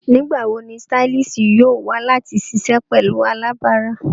Nigbawo ni stylist yoo wa lati ṣiṣẹ pẹlu alabara?